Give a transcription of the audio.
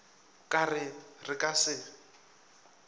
ka ge re ka se